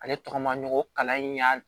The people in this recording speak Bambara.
Ale tɔgɔ maɲi ko kalan in y'a